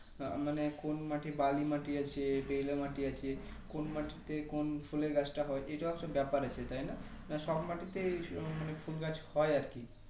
আ~মানে কোন মাটি বালি মাটি আছে বেলে মাটি আছে কোন মাটিতে কোন ফুলের গাছ তা হয় এতো একটা ব্যাপার আছে তাই না সব মাটিতে স~মানে ফুলগাছ হয় আরকি